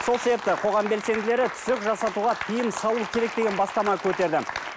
сол себепті қоғам белсенділері түсік жасатуға тиым салу керек деген бастама көтерді